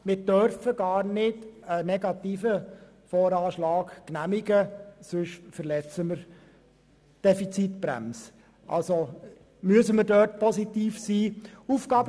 Wir dürfen gar keinen negativen VA genehmigen, sonst verletzen wir die Defizitbremse.